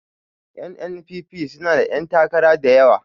N.N.P.P suna da 'yantakara da yawa